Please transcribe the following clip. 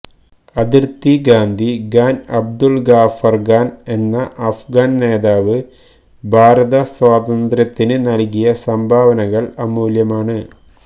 അതിര്ത്തി ഗാന്ധി ഖാന് അബ്ദുള് ഗാഫര് ഖാന് എന്ന അഫ്ഗാന് നേതാവ് ഭാരത സ്വാതന്ത്ര്യത്തിന് നല്കിയ സംഭാവനകള് അമൂല്യമാണ്